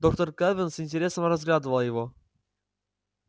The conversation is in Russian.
доктор кэлвин с интересом разглядывала его